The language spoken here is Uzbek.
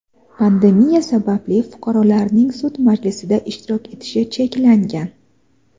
Pandemiya sababli fuqarolarning sud majlisida ishtirok etishi cheklangan.